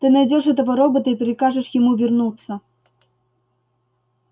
ты найдёшь этого робота и прикажешь ему вернуться